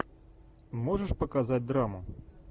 можешь показать драму